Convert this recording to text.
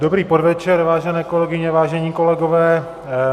Dobrý podvečer, vážené kolegyně, vážení kolegové.